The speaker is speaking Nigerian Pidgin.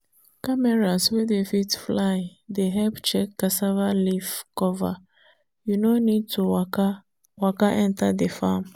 cameras wey dey fit fly dey help check cassava leaf cover you no need to waka waka enter the farm.